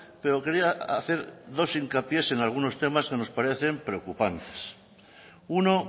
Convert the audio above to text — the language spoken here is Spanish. pero quería hacer dos hincapiés en algunos temas que nos parecen preocupantes uno